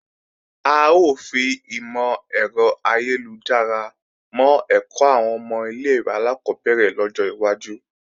A ó fi ìmò-ẹ̀rọ ayélujára mọ́ ẹ̀kọ́ àwọn ọmọ ilé-ìwé alákọ́bẹ̀rẹ̀ lọ́jọ́ iwájú